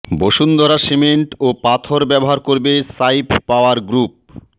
Bashundhara cement ও পাথর ব্যবহার করবে সাইফ পাওয়ার গ্রুপ